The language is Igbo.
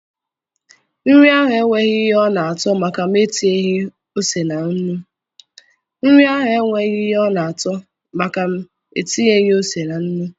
Nri ahụ enweghị ihe ọ na-ato maka m etinyeghi ose na nnu